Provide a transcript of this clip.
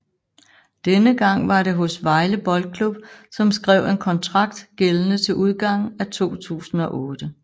Denne gang var det hos Vejle Boldklub som skrev en kontrakt gældende til udgangen af 2008